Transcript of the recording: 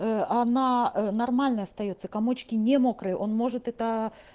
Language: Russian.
ээ она ээ нормальная остаётся комочки не мокрые он может это